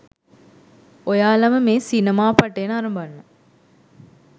ඔයාලම මේ සිනමාපටය නරඹන්න